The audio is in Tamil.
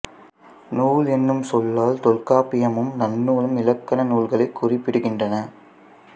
நூல் என்னும் சொல்லால் தொல்காப்பியமும் நன்னூலும் இலக்கண நூல்களைக் குறிப்பிடுகின்றன